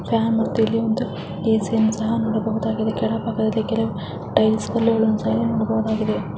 ಈ ಚಿತ್ರದಲ್ಲಿ ನಾವು ಕಾಣುತಿರುವೆನೆಂದರೆ ಇದೊಂದು ಚಾಮರಾಜನಗರದ ಒಂದು ಜಿಲ್ಲೆಯ ಚಿತ್ರಣವಾಗಿದ್ದು ಇದ್ರಲ್ಲಿ ನಾವು ನೋಡಬಹುದಾದ ಒಂದು ನೋಡುತ್ತಿರುವೆನೆಂದರೆ ದೊಡ್ಡದಾದ ಒಂದು ಕೆರೆ